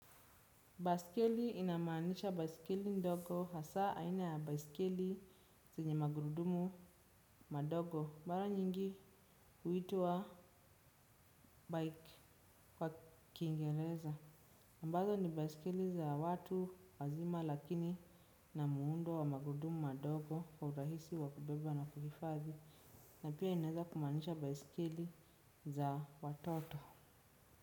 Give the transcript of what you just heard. Baiskeli inamaanisha baiskeli ndogo hasa aina ya baiskeli zenye magurudumu madogo. Mara nyingi huitwa bike kwa kiingereza ambazo ni baiskeli za watu wazima lakini ina muundo wa magurudumu madogo. Kwa urahisi wa kubeba na kuhifadhi na pia inaweza kumaanisha baiskeli za watoto.